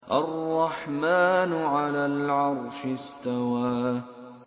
الرَّحْمَٰنُ عَلَى الْعَرْشِ اسْتَوَىٰ